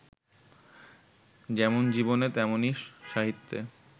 যেমন জীবনে তেমনই সাহিত্যে